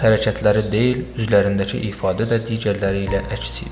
Yalnız hərəkətləri deyil, üzlərindəki ifadə də digərləri ilə əks idi.